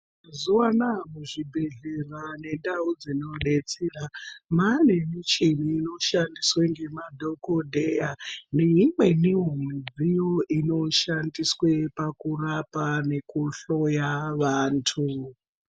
Mazuva anaya muzvibhedhleya nendau dzinobetsera mwane michini inoshandiswe nemadhogodheya, neimwenivo midziyo inoshandiswe pakurapa nekuhloya vantu.